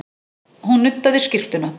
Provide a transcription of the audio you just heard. Hún nuddaði skyrtuna.